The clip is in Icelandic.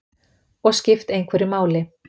Og skipt einhverju máli.